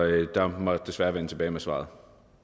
jeg må desværre vende tilbage med svaret